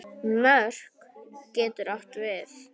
Mörk getur átt við